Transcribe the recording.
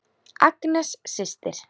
Agnes systir.